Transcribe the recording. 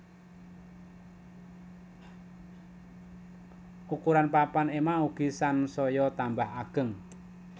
Ukuran papan ema ugi sansaya tambah ageng